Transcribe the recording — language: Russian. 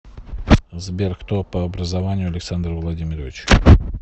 сбер кто по образованию александр владимирович